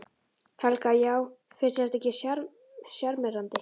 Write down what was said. Helga: Já finnst þér þetta ekki sjarmerandi?